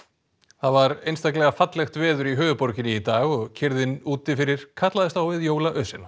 það var einstaklega fallegt veður í höfuðborginni í dag og kyrrðin úti fyrir kallaðist á við